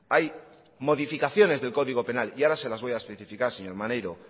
hay modificaciones del código penal y ahora se las voy a especificar señor maneiro